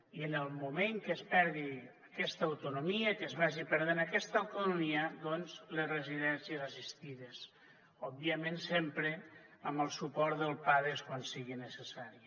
i en el moment que es perdi aquesta autonomia que es vagi perdent aquesta autonomia doncs les residències assistides òbviament sempre amb el suport del pades quan sigui necessari